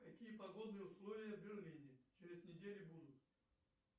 какие погодные условия в берлине через неделю будут